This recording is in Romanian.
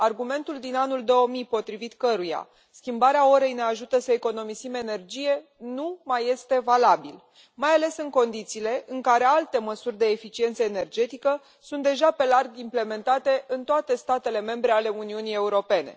Argumentul din anul 2000, potrivit căruia schimbarea orei ne ajută să economisim energie, nu mai este valabil, mai ales în condițiile în care alte măsuri de eficiență energetică sunt deja pe larg implementate în toate statele membre ale Uniunii Europene.